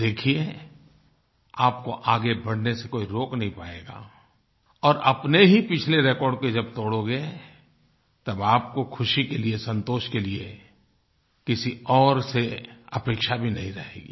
आप देखिये आपको आगे बढ़ने से कोई रोक नहीं पायेगा और अपने ही पिछले रिकॉर्ड को जब तोड़ोगे तब आपको खुशी के लिए संतोष के लिए किसी और से अपेक्षा भी नहीं रहेगी